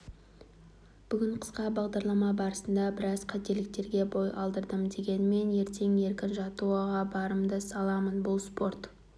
бүгін қысқа бағдарлама барысында біраз қателіктерге бой алдырдым дегенмен ертең еркін жаттығуда барымды саламын бұл спорт